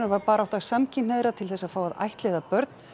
var barátta samkynhneigðra til þess að fá að ættleiða börn